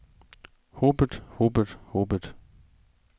hobet hobet hobet